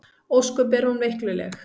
Ósköp er hún veikluleg.